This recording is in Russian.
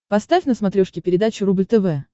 поставь на смотрешке передачу рубль тв